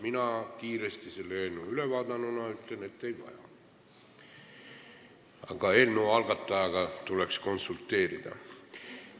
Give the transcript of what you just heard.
Mina selle eelnõu kiiresti ülevaadanuna ütlen, et ei vaja, aga eelnõu algatajaga tuleks konsulteerida.